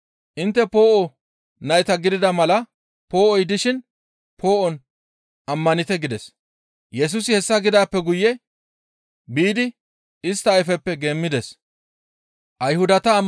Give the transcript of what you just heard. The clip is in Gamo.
Intte poo7o nayta gidana mala poo7oy dishin poo7on ammanite» gides. Yesusi hessa gidaappe guye biidi istta ayfeppe geemmides.